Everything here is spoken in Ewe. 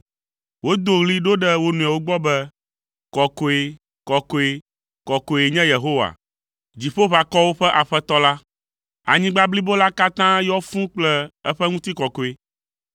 Wodo ɣli ɖo ɖe wo nɔewo gbɔ be, “Kɔkɔe, kɔkɔe, kɔkɔe nye Yehowa, Dziƒoʋakɔwo ƒe Aƒetɔ la; anyigba blibo la katã yɔ fũu kple eƒe ŋutikɔkɔe.”